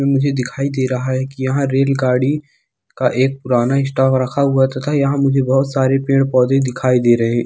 मुझे दिखाई दे रहा है कि यहा रेलगाड़ी का एक पुराना स्टॉक रखा हुआ है तथा यहा मुझे बहुत सारे पेड़-पौधे भी दिखाई दे रहे।